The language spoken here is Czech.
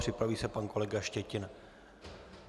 Připraví se pan kolega Štětina.